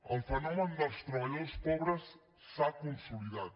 el fenomen dels treballadors pobres s’ha consolidat